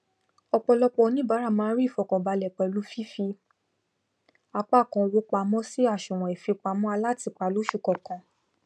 ọpọlọpọ oníbàrà ma n rí ìfọkàbalẹ pẹlu fífí apá kan owó pamọn sí àsùwọn ìfipamọ alátìpa lósù kọkan